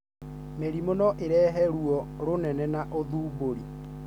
Mĩrimũ no irehe ruo rũnene na ũthumbũri: